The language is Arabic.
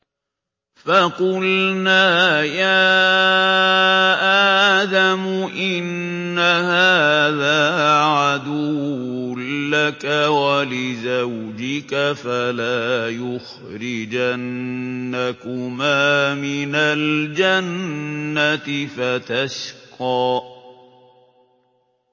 فَقُلْنَا يَا آدَمُ إِنَّ هَٰذَا عَدُوٌّ لَّكَ وَلِزَوْجِكَ فَلَا يُخْرِجَنَّكُمَا مِنَ الْجَنَّةِ فَتَشْقَىٰ